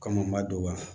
Kɔmɔ dɔgɔya